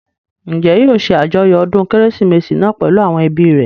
Njẹ́ yóò ṣe àjọyọ̀ ọdún kérésìmesì náà pèlú àwọn ẹbí rẹ̀?